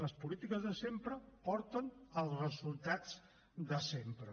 les polítiques de sempre porten als resultats de sempre